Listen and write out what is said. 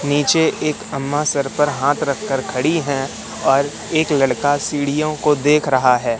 नीचे एक अम्मा सर पर हाथ रख कर खड़ी हैं और एक लड़का सीढ़ियों को देख रहा है।